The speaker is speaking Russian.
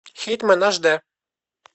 хитмэн аш д